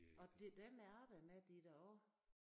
Og det dem jeg arbejder med de er da også